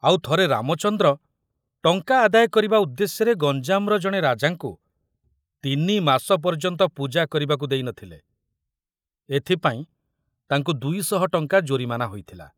ଆଉ ଥରେ ରାମଚନ୍ଦ୍ର ଟଙ୍କା ଆଦାୟ କରିବା ଉଦ୍ଦେଶ୍ୟରେ ଗଞ୍ଜାମର ଜଣେ ରାଜାଙ୍କୁ ତିନିମାସ ପର୍ଯ୍ୟନ୍ତ ପୂଜା କରିବାକୁ ଦେଇ ନ ଥିଲେ, ଏଥିପାଇଁ ତାଙ୍କୁ ଦୁଇଶହ ଟଙ୍କା ଜୋରିମାନା ହୋଇଥିଲା।